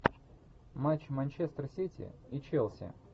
матч манчестер сити и челси